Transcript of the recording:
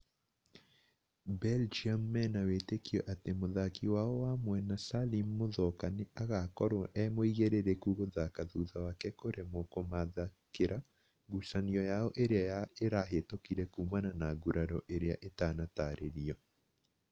Belgium mena wĩtĩkio atĩ mũthaki wao wa mwena Salim Muthoka nĩ agakorwo e mũigĩrĩrĩku gũthaka thutha wake kũremwo kũmathakira ngucanio yao ĩrĩa ĩrahĩtũkire kumana na nguraro irĩa itanatarĩrio